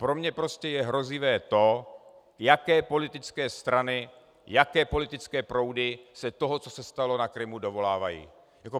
Pro mě prostě je hrozivé to, jaké politické strany, jaké politické proudy se toho, co se stalo na Krymu, dovolávají.